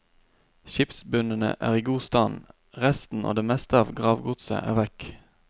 Skipsbunnene er i god stand, resten og det meste av gravgodset er vekk.